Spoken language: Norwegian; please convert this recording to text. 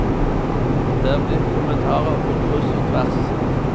Det er blitt kommentarer på kryss og tvers.